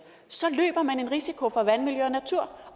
så løber man en risiko for vandmiljø og natur